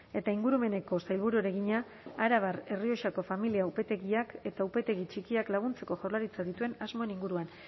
eta ingurumeneko sailburuari egina arabar errioxako familia upategiak eta upategi txikiak laguntzeko jaurlaritzak dituen asmoen inguruan